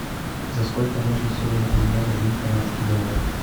за сколько можно сегодня поменять один канадский доллар